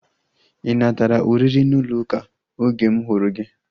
Ị natara oriri n'ụlọ ụka oge m hụrụ gị?